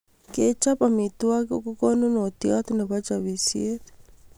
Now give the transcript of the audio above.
Kechop amitwogik ko kanunotiot nebo chopisiet